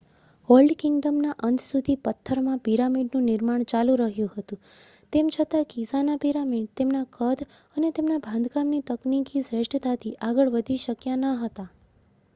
old કિંગડમના અંત સુધી પથ્થરમાં પિરામિડનું નિર્માણ ચાલુ રહ્યું હતું તેમ છતાં ગિઝાના પિરામિડ તેમના કદ અને તેમના બાંધકામની તકનીકી શ્રેષ્ઠતાથી આગળ વધી શક્યા ન હતા